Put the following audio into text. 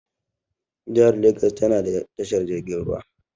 Jihar legas tana da tashar jirgin ruwa.